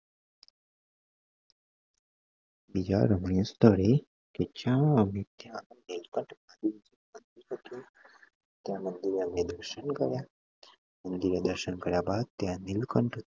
બીજા રમણીય સ્થળે પહોચીને અમે ત્યાં ત્યાં મંદિરે અમે દર્શન કર્યા. મંદિરે દર્શન કર્યા બાદ ત્યાં નીલકંઠ